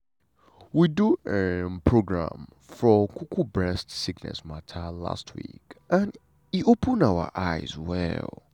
we do um program for um bress sickness mata last week and e open our eyes well.